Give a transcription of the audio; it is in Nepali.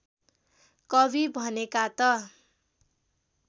कवि भनेका त